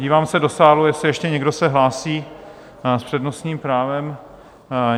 Dívám se do sálu, jestli ještě někdo se hlásí s přednostním právem?